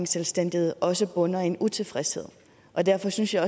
selvstændighed også bunder i en utilfredshed og derfor synes jeg